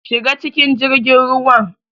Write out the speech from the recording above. Shiga cikin jirgin ruwa.